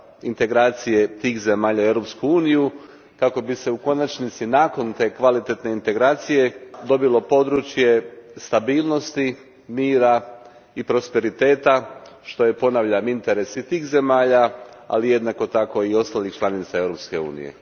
integracije tih zemalja u Europsku uniju kako bi se u konačnici nakon te kvalitetne integracije dobilo područje stabilnosti, mira i prosperiteta, što je, ponavljam, i interes tih zemalja, ali jednako tako i ostalih članica Europske unije.